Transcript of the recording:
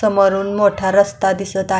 समोरून मोठा रस्ता दिसत आ--